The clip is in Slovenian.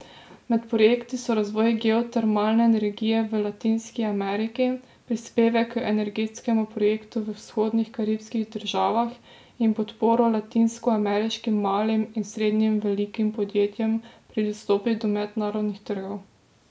Med projekti so razvoj geotermalne energije v Latinski Ameriki, prispevek k energetskemu projektu v vzhodnih karibskih državah in podporo latinskoameriškim malim in srednje velikim podjetjem pri dostopu do mednarodnih trgov.